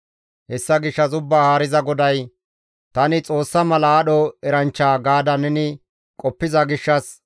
«Hessa gishshas Ubbaa Haariza GODAY, ‹Tani xoossa mala aadho eranchcha› gaada neni qoppiza gishshas,